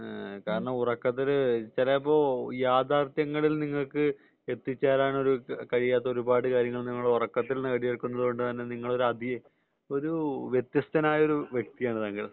കാരണം ഉറക്കത്തിൽ ചിലപ്പോ യാഥാർഥ്യങ്ങളിൽ നിങ്ങൾക്ക് എത്തിച്ചേരാൻ കഴിയാത്ത ഒരുപാട് കാര്യങ്ങൾ നിങ്ങൾ ഉറക്കത്തിൽ നേടിയെടുക്കുന്നത് കൊണ്ടാണ് നിങ്ങൾ ഒരു വ്യത്യസ്തനായ ഒരു വ്യക്തിയാണ് താങ്കൾ